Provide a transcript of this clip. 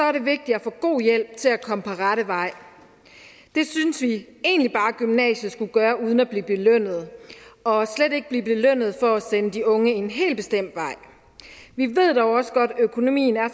er det vigtigt at få god hjælp til at komme på rette vej det synes vi egentlig bare gymnasiet skulle gøre uden at blive belønnet og slet ikke blive belønnet for at sende de unge en helt bestemt vej vi ved dog også godt at økonomien er